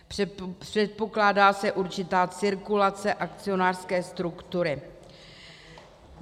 Předpokládá se určitá cirkulace akcionářské struktury.